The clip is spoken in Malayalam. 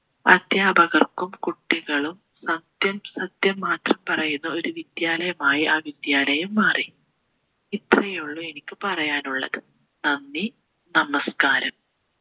അദ്ധ്യാപകർക്കും കുട്ടികളും സത്യം സത്യം മാത്രം പറയുന്ന ഒരു വിദ്യാലയമായി ആ വിദ്യാലയം മാറി ഇത്രയേയുള്ളൂ എനിക്ക് പറയാനുള്ളത് നന്ദി നമസ്ക്കാരം